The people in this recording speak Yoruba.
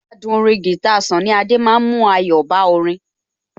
Adùn orin guitar Sunny Adé ma ń mú ayọ̀ bá orin